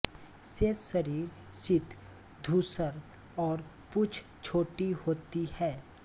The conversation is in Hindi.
शेष शरीर सित धूसर और पूँछ छोटी होती है